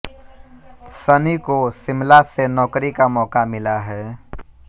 सनी को शिमला से नौकरी का मौका मिला है